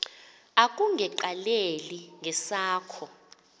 akunge qaleli ngesakho